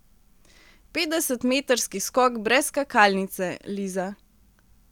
Petdesetmetrski skok brez skakalnice, Liza.